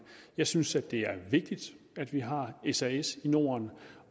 jeg synes det er vigtigt at vi har sas i norden